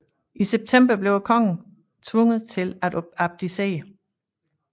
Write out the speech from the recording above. I september blev kongen tvunget til at abdicere